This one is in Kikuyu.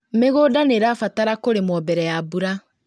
Mĩgũnda nĩirabatara kũrĩmwo mbere ya mbura